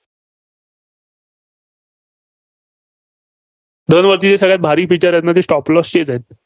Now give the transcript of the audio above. धनवरती जी सगळ्या भारीत Features आहेत ना ती stop loss चीच आहेत.